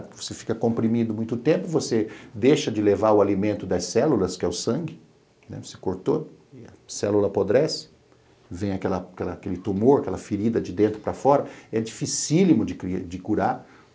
Porque você fica comprimido muito tempo, você deixa de levar o alimento das células, que é o sangue, se cortou, a célula apodrece, vem aquele tumor, aquela ferida de dentro para fora, é dificílimo de curar.